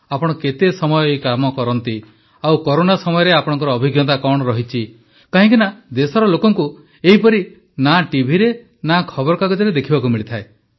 ଆପଣ କେତେ ସମୟ ଏହି କାମ କରନ୍ତି ଆଉ କରୋନା ସମୟରେ ଆପଣଙ୍କର ଅଭିଜ୍ଞତା କଣ ରହିଛି କାହିଁକିନା ଦେଶର ଲୋକଙ୍କୁ ଏହିପରି ନା ଟିଭିରେ ନା ଖବରକାଗଜରେ ଦେଖିବାକୁ ମିଳେ